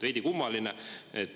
Veidi kummaline.